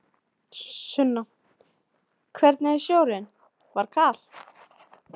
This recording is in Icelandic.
Sunna: Hvernig er sjórinn, var kalt?